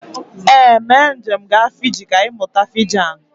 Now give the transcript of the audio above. Ee, mee njem gaa Fiji ka kà ịmụta Fijan.